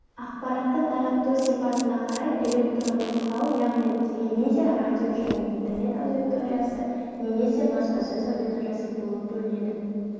ақпаратты тарату сипатына қарай электронды құрал яғни телевизия радио және интернет аудиториясы немесе баспасөз аудиториясы болып бөлінеді